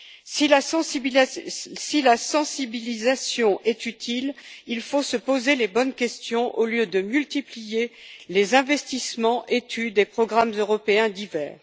Si la sensibilisation est utile, il faut se poser les bonnes questions au lieu de multiplier les investissements, études et programmes européens divers.